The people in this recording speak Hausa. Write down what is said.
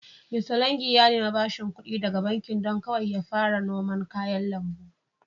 Mista longi ya nemi bashing ƙudi daga bankin don kawai ya fara noman kayan lambu.